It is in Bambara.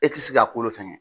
E ti se ka kolo fɛngɛ.